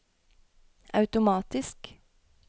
automatisk